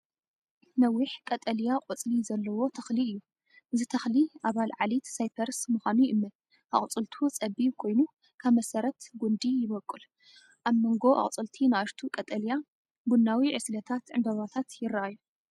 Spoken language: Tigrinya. ነዊሕ ቀጠልያ ቆጽሊ ዘለዎ ተኽሊ እዩ። እዚ ተኽሊ ኣባል ዓሌት ሳይፐረስ ምዃኑ ይእመን። ኣቝጽልቱ ጸቢብ ኮይኑ ካብ መሰረት ጕንዲ ይበቁል። ኣብ መንጎ ኣቝጽልቲ ንኣሽቱ ቀጠልያ ቡናዊ ዕስለታት ዕምባባታት ይረኣዩ።